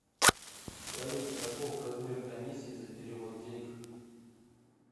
салют каков размер комиссии за перевод денег